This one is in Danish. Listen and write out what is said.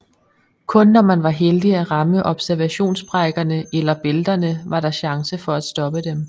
Kun når man var heldig at ramme observationssprækkerne eller eller bælterne var der chance for at stoppe dem